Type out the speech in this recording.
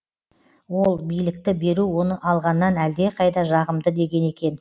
ол билікті беру оны алғаннан әлдеқайда жағымды деген екен